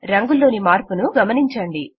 రంగులోని మార్పును గమనించండి